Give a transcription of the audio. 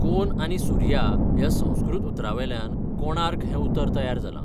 कोन आनी सुर्या ह्या संस्कृत उतरांवयल्यान 'कोणार्क' हें उतर तयार जालां.